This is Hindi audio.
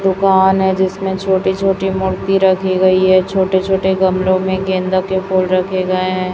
दुकान है जिसमें छोटी छोटी मूर्ति रखी गई है छोटे छोटे गमले में गेंदा के फूल रखे गए हैं।